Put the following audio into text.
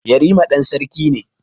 Yarima ɗan sarki ne.